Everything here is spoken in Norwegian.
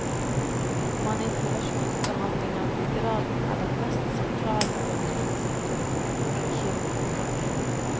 Manipulasjonsbehandling av ryggraden er den mest sentrale behandlingsmetoden i kiropraktikk.